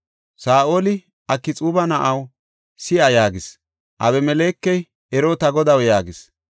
Saa7oli, “Akxuuba na7aw, si7a” yaagis. Abimelekey, “Ero ta godaw” yaagis.